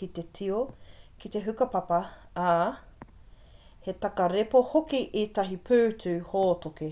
ki te tio ki te hukapapa ā he takarepa hoki ētahi pūtu hōtoke